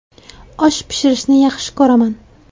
Osh pishirishni yaxshi ko‘raman.